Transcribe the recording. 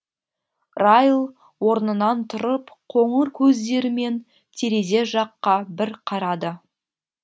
райл орнынан тұрып қоңыр көздерімен терезе жаққа бір қарады